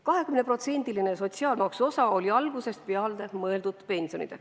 20%-line sotsiaalmaksu osa oli algusest peale mõeldud pensionideks.